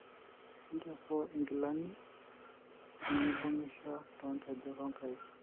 ichopo ingilani nemibungisho to nkejek onkaik.